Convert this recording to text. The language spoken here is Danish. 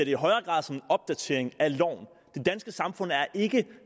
i højere grad som en opdatering af loven det danske samfund er ikke